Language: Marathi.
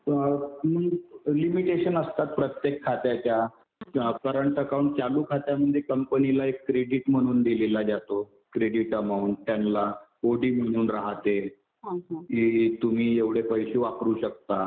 लिमिटेशन असतात प्रत्येक खात्याच्या. करंट अकाउंट, चालू खात्यामध्ये कंपनीला एक क्रेडिट म्हणून दिलेला जातो. क्रेडिट अमाऊंट त्यांना ओडी म्हणून राहते कि तुम्ही एवढे पैसे वापरू शकता.